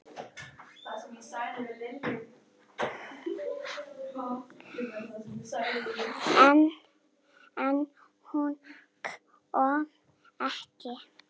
En hún kom ekki.